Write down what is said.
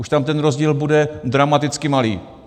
Už tam ten rozdíl bude dramaticky malý.